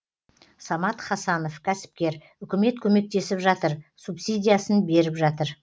самат хасанов кәсіпкер үкімет көмектесіп жатыр субсидиясын беріп жатыр